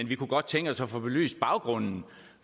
vi kunne godt tænke os at få belyst baggrunden